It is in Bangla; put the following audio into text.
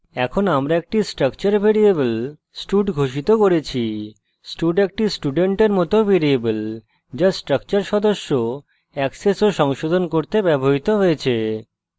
এখন আমরা একটি structure ভ্যারিয়েবল stud ঘোষিত করেছি stud একটি student মত ভ্যারিয়েবল যা structure সদস্য অ্যাক্সেস of সংশোধন করতে ব্যবহৃত হয়েছে